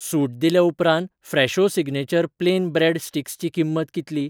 सूट दिले उपरांत Fresho signature plain bread sticks ची किंमत कितली?